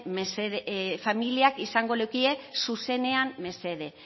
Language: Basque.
mila familiak izango leukie zuzenean mesede